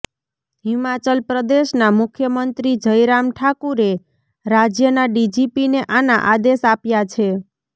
હિમાચલ પ્રદેશના મુખ્યમંત્રી જયરામ ઠાકુરે રાજ્યના ડીજીપીને આના આદેશ આપ્યા છે